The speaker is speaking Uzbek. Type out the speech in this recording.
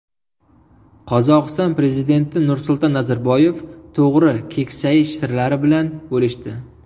Qozog‘iston prezidenti Nursulton Nazarboyev to‘g‘ri keksayish sirlari bilan bo‘lishdi.